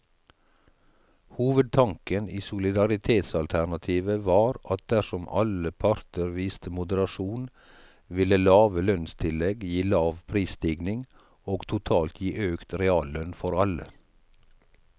Hovedtanken i solidaritetsalternativet var at dersom alle parter viste moderasjon, ville lave lønnstillegg gi lav prisstigning og totalt gi økt reallønn for alle.